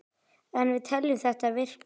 En við teljum þetta virka.